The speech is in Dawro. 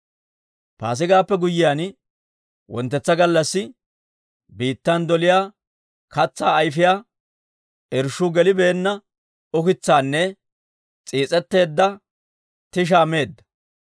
Paasigaappe guyyiyaan wonttetsa gallassi, biittan doliyaa katsaa ayfiyaa irshshuu gelibeenna ukitsaanne s'iis'etteedda tishaa meedda.